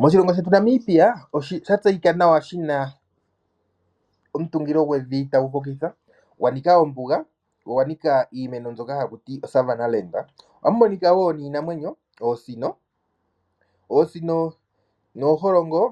Moshilongo shetu Namibia, osha tseyika nawa shina omutungilo gwevi tagu hokitha, gwa nika ombuga, go ogwa nika iimeno mbyoka haku tiwa o Savanna. Ohamu monika wo iinamwenyo ngashi oosino, oosino nooholongo